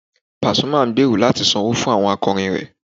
Pàsúmà ń gbèrò láti sanwó fún ẹgbẹ́ akọrin rẹ̀